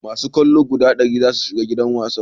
masu kallo guda dari za su shiga gidan wasan